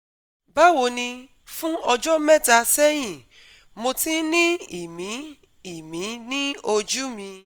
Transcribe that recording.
Báwo ni, Fún ọjọ́ mẹ́ta sẹ́yìn, mo ti ń ní ìmí-ìmí ní ojú mi